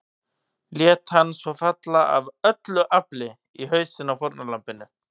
Lét hann svo falla AF ÖLLU AFLI í hausinn á fórnarlambinu.